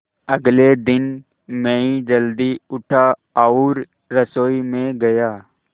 अगले दिन मैं जल्दी उठा और रसोई में गया